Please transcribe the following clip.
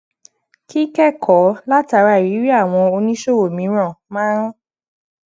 kíkékòó látara ìrírí àwọn oníṣòwò mìíràn maa ń